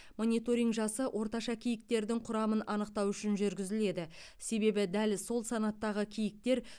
мониторинг жасы орташа киіктердің құрамын анықтау үшін жүргізіледі себебі дәл сол санаттағы киіктер